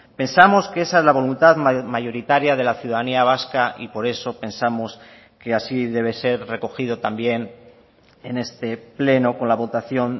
pensamos que esa es la voluntad mayoritaria de la ciudadanía vasca y por eso pensamos que así debe ser recogido también en este pleno con la votación